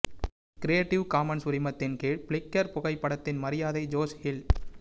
creative commons உரிமத்தின் கீழ் Flickr புகைப்படத்தின் மரியாதை ஜோஷ் ஹில்